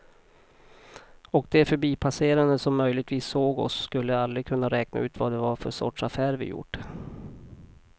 Och de förbipasserande som möjligtvis såg oss skulle aldrig kunna räkna ut vad det var för sorts affär vi gjort.